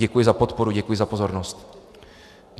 Děkuji za podporu, děkuji za pozornost.